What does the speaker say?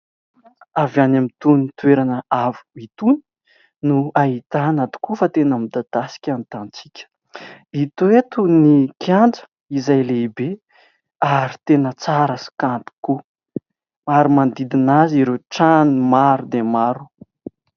Avy any amin'ny itony toerana avo itony no ahitana tokoa fa tena midadasika ny tanintsika. Hita eto ny kianja izay lehibe ary tena tsara sy kanto tokoa ary manodidina azy ireo trano maro dia maro.